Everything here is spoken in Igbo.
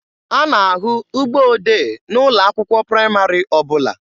A na-ahụ ụgbọ odee n'ụlọ akwụkwọ praịmarị ọbụla.